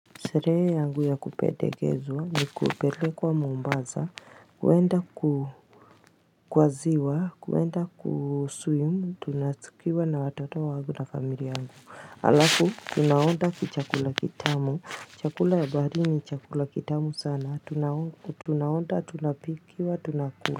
Sherehe yangu ya kupendekezwa, ni kupelekwa mombasa, kwenda kwa ziwa, kwenda kuswimu, tukiwa na watoto wangu na familia yangu. Alafu, tunaoda chakula kitamu, chakula ya bahari ni chakula kitamu sana, tunaoda, tunapikiwa, tunakula.